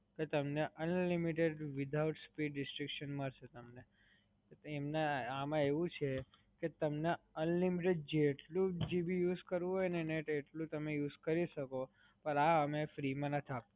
કે તમને unlimited without speed restriction મડસે તમને. આમાં એવું છે ક તમને unlimited જેટલુ GB use કરવું હોય ને એટલું તમે use કરી સકો પણ આ અમે free માં નથી આપતા.